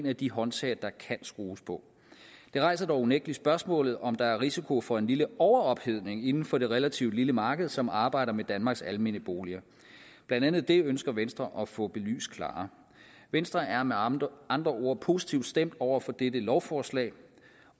af de håndtag der kan skrues på det rejser dog unægtelig spørgsmålet om der er risiko for en lille overophedning inden for det relativt lille marked som arbejder med danmarks almene boliger blandt andet det ønsker venstre at få belyst klarere venstre er med andre andre ord positivt stemt over for dette lovforslag